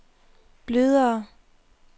blødere